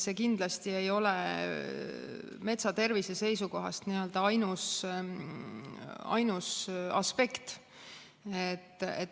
See kindlasti ei ole metsa tervise seisukohast ainus aspekt.